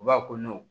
U b'a fɔ